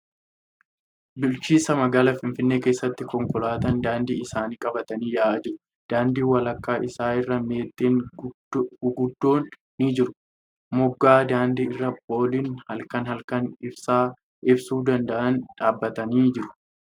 Bulchiinsa magaalaa Finfinnee keessa konkolaataan daandii isaanii qabatanii yaa'aa jiru. Daandii walakkaa isaa irra meexxii gurguddoon ni jiru. Moggaa daandii irra pooliin halkan halkan ibsaa ibsuu danda'a dhaabbatanii jiru .